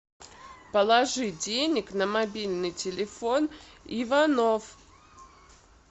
положи денег на мобильный телефон иванов